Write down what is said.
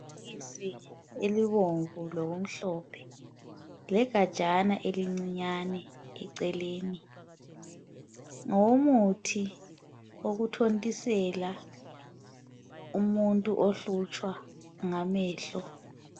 Iphilisi elibomvu lokumhlophe legatshana elincinyane eceleni. Ngowomuthi wokuthontisela umuntu obulawa ngamehlo.